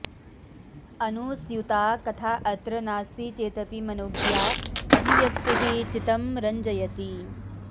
अनुस्यूता कथा अत्र नास्ति चेदपि मनोज्ञा अभिव्यक्तिः चित्तं रञ्जयति